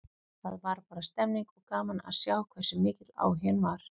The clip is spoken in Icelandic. Það var bara stemmning, og gaman að sjá hversu mikill áhuginn var.